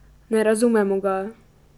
Ne razumemo ga.